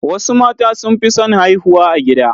Wasu mata sun fi son haihuwa a gida